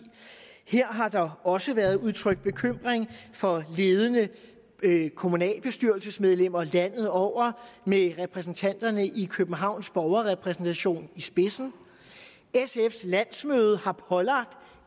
her har der også været udtrykt bekymring fra ledende kommunalbestyrelsesmedlemmer landet over med repræsentanterne i københavns borgerrepræsentation i spidsen sfs landsmøde har pålagt